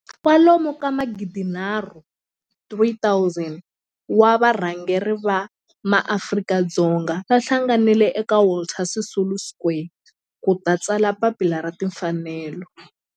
kwalomu ka magidi nharhu, 3 000 wa varhangeri va maAfrika-Dzonga va hlanganile eka Walter Sisulu Square ku ta tsala Papila ra Tinfanelo.